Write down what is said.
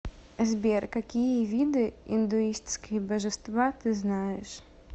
сбер какие виды индуистские божества ты знаешь